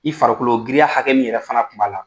I farikolo giriya hakɛ min yɛrɛ fana kun b'a la